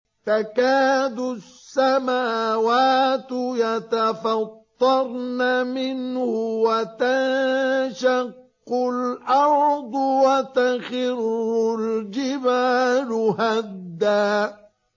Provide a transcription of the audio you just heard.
تَكَادُ السَّمَاوَاتُ يَتَفَطَّرْنَ مِنْهُ وَتَنشَقُّ الْأَرْضُ وَتَخِرُّ الْجِبَالُ هَدًّا